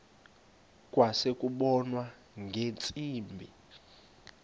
kwase kubonwa ngeentsimbi